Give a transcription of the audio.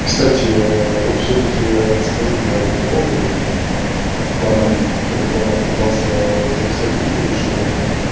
и кстати вот всё-таки скажу по этому поводу по одному по которому пытался записать видео ещё